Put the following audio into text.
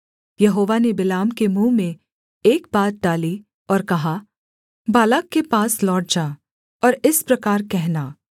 यहोवा ने बिलाम के मुँह में एक बात डाली और कहा बालाक के पास लौट जा और इस प्रकार कहना